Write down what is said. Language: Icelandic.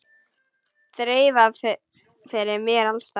Þreifað fyrir mér alls staðar.